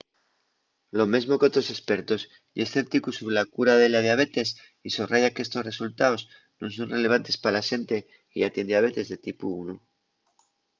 lo mesmo qu'otros espertos ye escépticu sobre la cura de la diabetes y sorraya qu'estos resultaos nun son relevantes pa la xente que yá tien diabetes de tipu 1